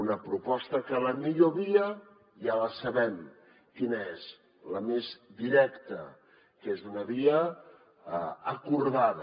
una proposta en què la millor via ja sabem quina és la més directa que és una via acordada